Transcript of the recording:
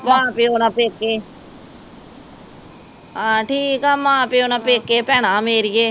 ਮਾਂ ਪਿਓ ਨਾ ਪੇਕੇ ਆ ਠੀਕ ਆ, ਮਾਂ ਪਿਓ ਨਾ ਪੇਕੇ ਭੈਣਾਂ ਮੇਰੀਏ